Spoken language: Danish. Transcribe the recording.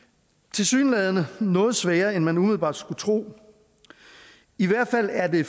tilsyneladende noget sværere end man umiddelbart skulle tro i hvert fald er det